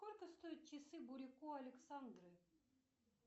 сколько стоят часы бурико александры